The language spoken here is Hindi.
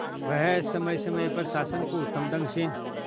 वह समय समय पर शासन को उत्तम ढंग से